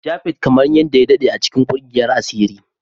Japhet kamar yadda ya daɗe a cikin ƙungiyar asiri